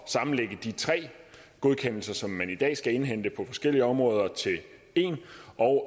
sammenlægge de tre godkendelser som man i dag skal indhente på forskellige områder til en og